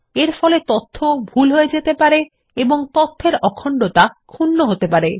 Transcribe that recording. এরফলে তথ্য সঠিক ভুল হয়ে যেতে পারে এবং তথ্যর অখণ্ডতা ক্ষুন্ন হতে পারে